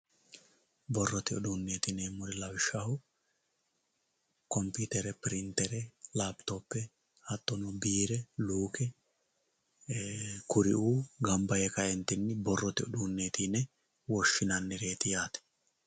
Borrote uduuneti yineemmori lawishshaho komputere pirintere lapitope hattono birre lukke kuriu gamba yee kaentinni borrote uduuneti yine woshshinannireti yaate.